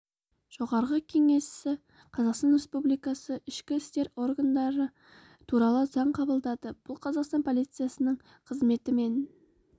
жоғарғы кеңесі қазақстан республикасы ішкі істер органдары туралы заң қабылдады бұл қазақстан полициясының қызметі мен